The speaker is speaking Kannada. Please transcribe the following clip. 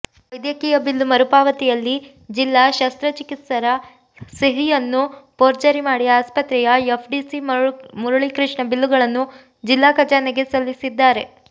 ವೈದ್ಯಕೀಯ ಬಿಲ್ಲು ಮರುಪಾವತಿಯಲ್ಲಿ ಜಿಲ್ಲಾ ಶಸ್ತ್ರಚಿಕಿತ್ಸರ ಸಹಿಯನ್ನು ಪೋರ್ಜರಿ ಮಾಡಿ ಆಸ್ಪತ್ರೆಯ ಎಫ್ಡಿಸಿ ಮುರುಳಿಕೃಷ್ಣ ಬಿಲ್ಲುಗಳನ್ನು ಜಿಲ್ಲಾ ಖಜಾನೆಗೆ ಸಲ್ಲಿಸಿದ್ದಾರೆ